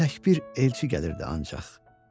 İndi təkcə bir elçi gəlirdi ancaq.